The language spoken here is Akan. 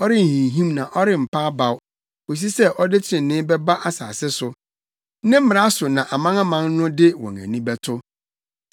ɔrenhinhim na ɔrempa abaw kosi sɛ ɔde trenee bɛba asase so. Ne mmara so na amanaman no de wɔn ani bɛto.”